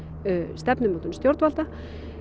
stefnumótun stjórnvalda